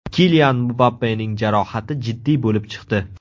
Kilian Mbappening jarohati jiddiy bo‘lib chiqdi.